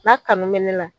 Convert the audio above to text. N'a kanu bɛ ne la